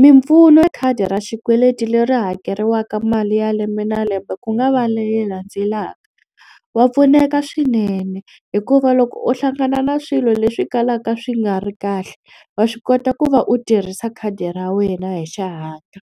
Mimpfuno ya khadi ra xikweleti leri hakeriwaka mali ya lembe na lembe ku nga va leyi landzelaka wa pfuneka swinene hikuva loko u hlangana na swilo leswi kalaka swi nga ri kahle wa swi kota ku va u tirhisa khadi ra wena hi xihatla.